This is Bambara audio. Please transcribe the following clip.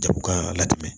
Jago ka latɛmɛ